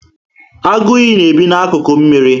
Agu iyi na ebi na akuku mmírí